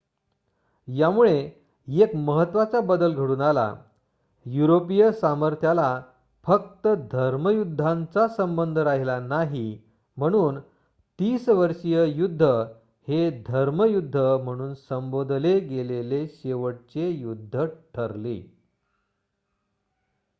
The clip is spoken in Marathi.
यामुळे एक महत्त्वाचा बदल घडून आला युरोपियन सामर्थ्याला फक्त धर्मयुद्धांचा संबंध राहिला नाही म्हणून तीसवर्षीय युद्ध हे धर्मयुद्ध म्हणून संबोधले गेलेले शेवटचे युद्ध ठरले